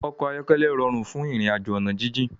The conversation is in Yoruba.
Òkò áyòkèlè ròrún fún irinàjó òná jijin